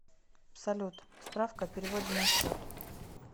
салют справка о переводе на счет